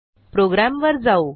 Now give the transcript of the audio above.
प्रोग्रॅमवर जाऊ